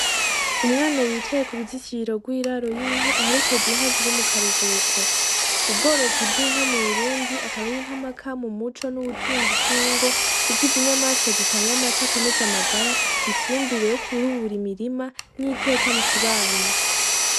Umwana yicaye ku ruzitiriro rw'iraro y'inka aherekeje inka ziri mu karuhuko, ubworozi bw'inka mu Burundi akaba ari intamaka mu muco n'ubutunzi bw'ingo kuko izi nyamaswa zitanga amata akomeza amagara ifumbure yo kurubura imirima niteka mu kibano.